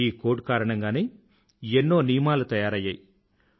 ఈ కోడ్ కారణంగానే ఎన్నో నియమాలు తయరైయ్యాయి